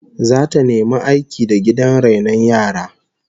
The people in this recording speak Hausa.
Zata nemi aiki da gidan rainon yaran